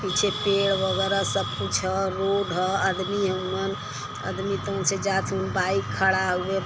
पिछे पेड़ वगेरह सब कुछ हउए रोड ह अदमी हउअन अदमी त उनसे जात हउअन बाइक खड़ा हउए।